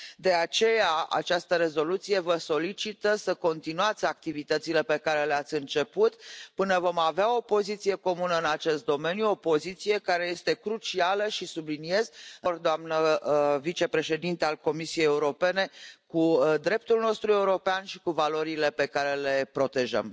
De aceea, această rezoluție vă solicită să continuați activitățile pe care le ați început, până vom avea o poziție comună în acest domeniu, o poziție care este crucială și, subliniez, doamnă vicepreședintă a Comisiei Europene, în deplin acord cu dreptul nostru european și cu valorile pe care le protejăm.